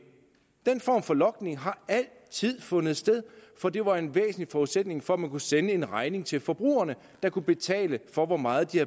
den form for logning har altid fundet sted for det var en væsentlig forudsætning for at man kunne sende en regning til forbrugerne der kunne betale for hvor meget de